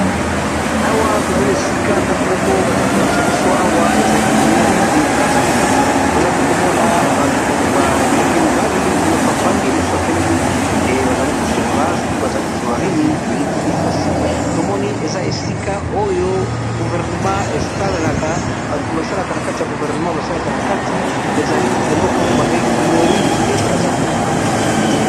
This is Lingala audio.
Awa tomoni esika ndako moko baza kolakisa biso awa ezali mary de brazaville tozali komona batu ba bilenge mibali moko afandi mosu ya telemi bazali kosolola soki bazali kosolola nini toyebi te kasi tomoni eza esika oyo guvernema esalelaka batu basalaka na kati ya guvernema basalaka na kati ezali eloko babengi mairy de brazeville.